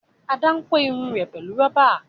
Ada n kò Irun rẹ pẹlú roba.